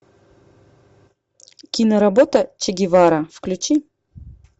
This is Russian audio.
киноработа че гевара включи